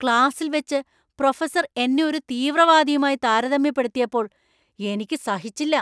ക്ലാസിൽ വെച്ച് പ്രൊഫസർ എന്നെ ഒരു തീവ്രവാദിയുമായി താരതമ്യപ്പെടുത്തിയപ്പോൾ എനിക്ക് സഹിച്ചില്ല.